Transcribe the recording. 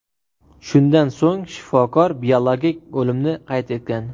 Shundan so‘ng shifokor biologik o‘limni qayd etgan.